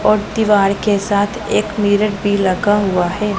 और दीवार के साथ एक मिरर भी लगा हुआ है।